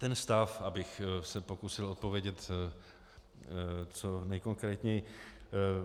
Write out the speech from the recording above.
Ten stav, abych se pokusil odpovědět co nejkonkrétněji.